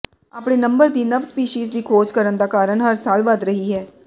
ਆਪਣੇ ਨੰਬਰ ਦੀ ਨਵ ਸਪੀਸੀਜ਼ ਦੀ ਖੋਜ ਕਰਨ ਦਾ ਕਾਰਨ ਹਰ ਸਾਲ ਵਧ ਰਹੀ ਹੈ